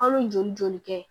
An bɛ joli joli kɛ